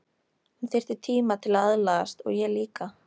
Hún þyrfti tíma til að aðlagast og ég líka.